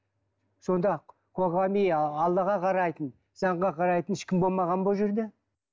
сонда қоғами аллаға қарайтын заңға қарайтын ешкім болмаған ба ол жерде